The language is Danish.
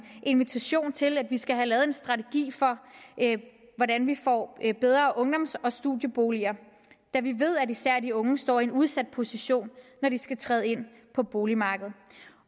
invitation til at vi skal have lavet en strategi for hvordan vi får bedre ungdoms og studieboliger da vi ved at især de unge står i en udsat position når de skal træde ind på boligmarkedet